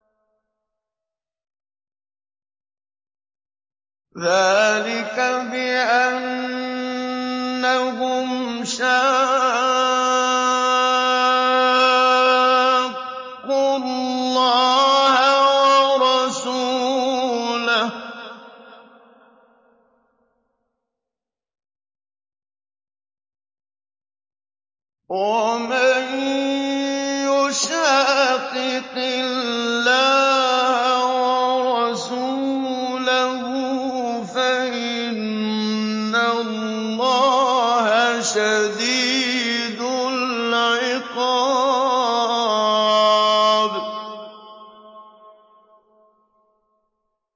ذَٰلِكَ بِأَنَّهُمْ شَاقُّوا اللَّهَ وَرَسُولَهُ ۚ وَمَن يُشَاقِقِ اللَّهَ وَرَسُولَهُ فَإِنَّ اللَّهَ شَدِيدُ الْعِقَابِ